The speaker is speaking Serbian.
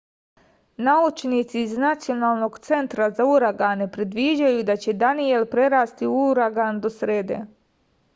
naučnici iz nacionalnog centra za uragane predviđaju da će daniel prerasti u uragan do srede